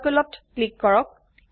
Circleত click কৰক